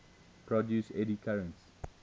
produce eddy currents